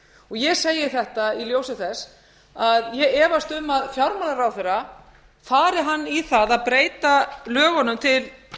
hátt ég segi þetta í ljósi þess að ég efast um að fjármálaráðherra fari hann í það að breyta lögunum til